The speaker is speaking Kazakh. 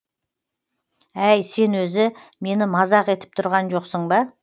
әй сен өзі мені мазақ етіп тұрған жоқсың ба